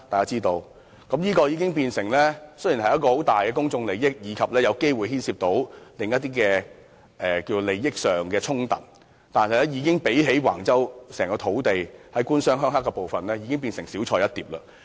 這宗事件雖然牽涉重大公眾利益，並有機會涉及另一些利益衝突，但較諸橫洲土地的"官商鄉黑"問題，已是小菜一碟。